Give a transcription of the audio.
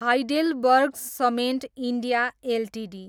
HeidelbergCement India Ltd